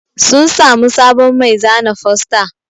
Sun samu sabon mai zana fosta